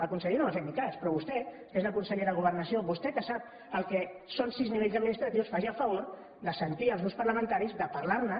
el conseller no m’ha fet ni cas però vostè que és la consellera de governació vostè que sap el que són sis nivells administratius faci el favor de sentir els grups parlamentaris de parlar ne